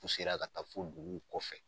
ka taa fo dugu kɔfɛ.